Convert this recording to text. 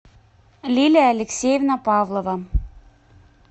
лилия алексеевна павлова